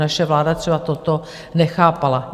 Naše vláda třeba toto nechápala.